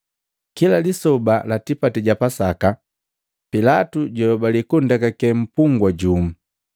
Kila lisoba la tipati ja Pasaka, Pilatu jwayobali kundekake mpungwa jumu.